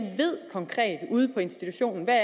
ude på institutionerne